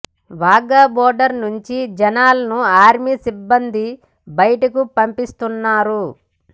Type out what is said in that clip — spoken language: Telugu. వాఘా బోర్డర్ నుంచి జనాలను ఆర్మీ సిబ్బంది బయటకు పంపించేస్తున్నారు